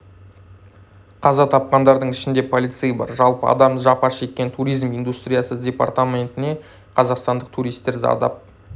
қаза тапқандардың ішінде полицей бар жалпы адам жапа шеккен туризм индустриясы департаментіне қазақстандық туристер зардап